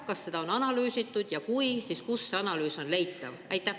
Kas seda on analüüsitud ja kui, siis kust see analüüs on leitav?